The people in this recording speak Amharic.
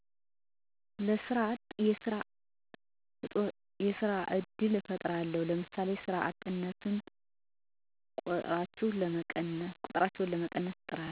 ለሰራ አጦች የስራ እድል እፍጥራለው ለምሳሌ የስራ እጥ ቆጥሮችን ለመቀነስ